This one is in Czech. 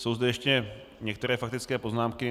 Jsou zde ještě některé faktické poznámky.